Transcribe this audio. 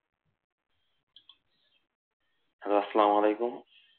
আসসালামু আলাইকুম